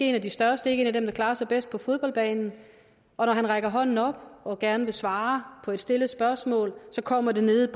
en af de største ikke en af dem der klarer sig bedst på fodboldbanen og når han rækker hånden op og gerne vil svare på et stillet spørgsmål kommer det nede